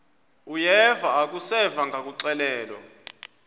uyeva akuseva ngakuxelelwa